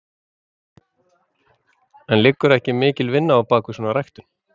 En liggur ekki mikil vinna á bakvið svona ræktun?